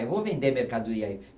Eu vou vender mercadoria aí.